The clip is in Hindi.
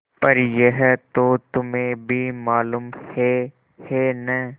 पर यह तो तुम्हें भी मालूम है है न